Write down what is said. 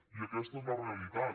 i aquesta és la realitat